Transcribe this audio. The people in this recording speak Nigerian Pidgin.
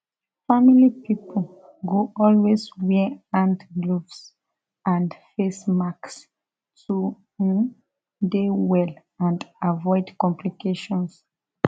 family pipo go always wear hand gloves and face masks to um dey well and avoid complications